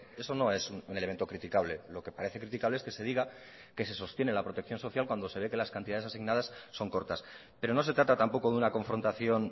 eso no es un elemento criticable lo que parece criticable es que se diga que se sostiene la protección social cuando se ve que las cantidades asignadas son cortas pero no se trata tampoco de una confrontación